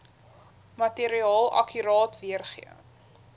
materiaal akkuraat weergee